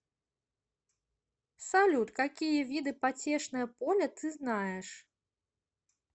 салют какие виды потешное поле ты знаешь